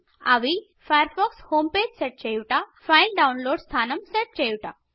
అవి Firefox home page set చేయుట file download స్థానం సెట్ చేయుట